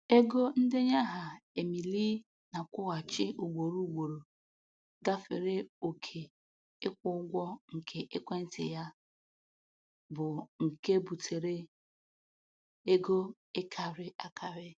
Ego ndenye aha Emily na-akwụghachi ugboro ugboro gafere oke ịkwụ ụgwọ nke ekwentị ya, bụ nke butere ego ịkarị akarị.